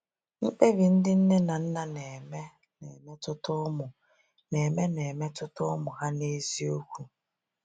MKPEBI ndị nne na nna na-eme na-emetụta ụmụ na-eme na-emetụta ụmụ ha n’eziokwu.